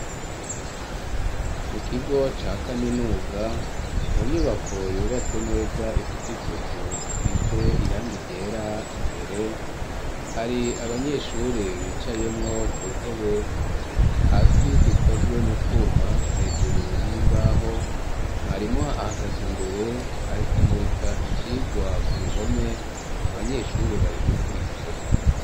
Mu kigo ca kaminuza mu nyubako yubatse neza ifise isuku isize irangi ryera imbere hari abanyeshure bicayemwo ku ntebe hasi zikozwe mu twuma hejuru n'imbaho mwarimu ahagaze imbere ari ku murika icirwa ku ruhome abanyeshuri bari gukurikira.